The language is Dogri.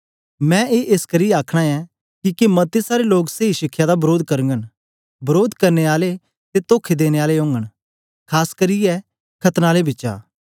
मैं ए एसकरी आखना ऐं किके मते सारे लोग सेई शिखया दा वरोध करगन वरोध करने आले ते तोखा देने आले न खास करियै खतना आलें बिचा